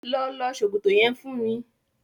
Lọ lọ ṣòkòto yẹn fún mi.